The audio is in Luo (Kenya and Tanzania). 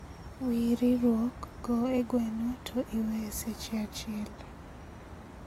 Wir riurwok go e gweno to iwe e seche achiel